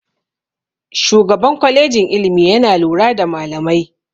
Shugaban kwalejin ilimi yana lura da malamai.